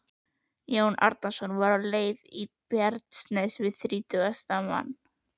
Jón Arason var á leið í Bjarnanes við þrítugasta mann.